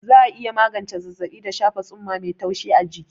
Za'a iya magance zazzaɓi da shafa tsumma mai taushi a jiki.